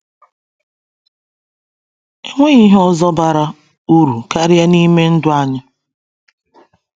Enweghị ihe ọzọ bara uru karịa n’ime ndụ anyị.